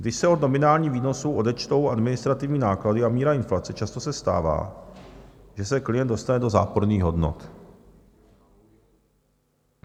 Když se od nominálních výnosů odečtou administrativní náklady a míra inflace, často se stává, že se klient dostane do záporných hodnot.